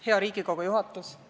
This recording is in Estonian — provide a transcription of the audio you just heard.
Hea Riigikogu juhatus!